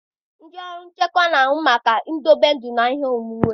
Ndị ọrụ nchekwa na-ahụ maka idobe ndụ na ihe onwunwe.